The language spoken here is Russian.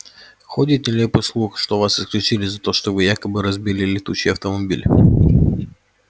ходит нелепый слух что вас исключили за то что вы якобы разбили летучий автомобиль